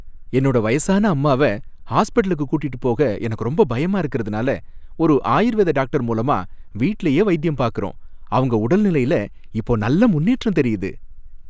என்னோட வயசான அம்மாவை ஹாஸ்பிட்டலுக்கு கூட்டிட்டு போக எனக்கு ரொம்ப பயமா இருக்கறதுனால ஒரு ஆயுர்வேத டாக்டர் மூலமா வீட்லையே வைத்தியம் பாக்கறோம், அவங்க உடல்நிலைல இப்போ நல்ல முன்னேற்றம் தெரியுது.